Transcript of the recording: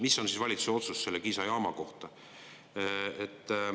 Mis on valitsuse otsus selle Kiisa jaama kohta?